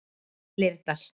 Leirdal